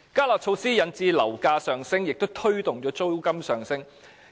"加辣"措施引致樓價上升，亦推動了租金上升，